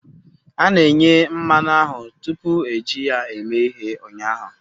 A na-eghe mmanụ ahụ tupu eji ya eme ihe ụnyaahụ